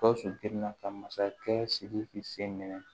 Gawusu girin na ka masakɛ sidiki sen minɛ